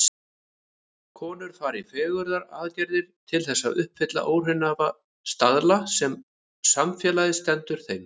Konur fara í fegrunaraðgerðir til þess að uppfylla óraunhæfa staðla sem samfélagið setur þeim.